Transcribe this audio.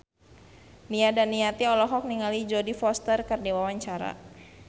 Nia Daniati olohok ningali Jodie Foster keur diwawancara